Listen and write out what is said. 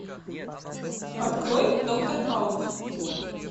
открой доктор хаус